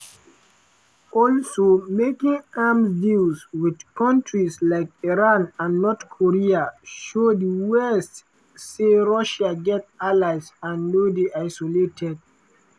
"hwasong-11 missiles dey cheaper for russia to use dan im own short-range missiles such as iskander" according to dr miron.